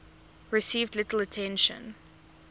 received little attention